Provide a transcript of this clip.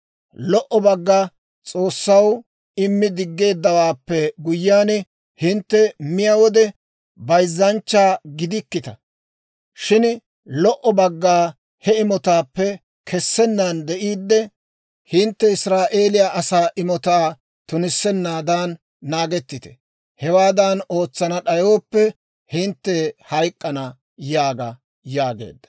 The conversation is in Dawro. Lo"o bagga S'oossaw immi diggeeddawaappe guyyiyaan hintte miyaa wode, bayzzanchcha gidikkita. Shin lo"o bagga he imotaappe kessennaan de'iidde, hintte Israa'eeliyaa asaa imotaa tunissennaadan naagettite. Hewaadan ootsana d'ayooppe, hintte hayk'k'ana› yaaga» yaageedda.